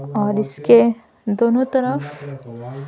और इसके दोनों तरफ --